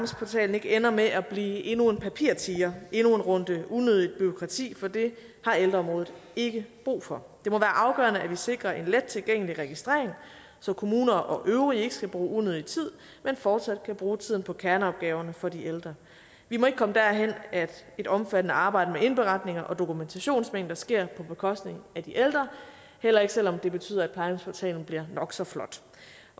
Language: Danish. ikke ender med at blive endnu en papirtiger endnu en runde unødig bureaukrati for det har ældreområdet ikke brug for det afgørende at vi sikrer en let tilgængelig registrering så kommuner og øvrige ikke skal bruge unødig tid men fortsat kan bruge tiden på kerneopgaverne for de ældre vi må ikke komme derhen at et omfattende arbejde med indberetninger og dokumentationsmængder sker på bekostning af de ældre heller ikke selv om det betyder at plejehjemsportalen bliver nok så flot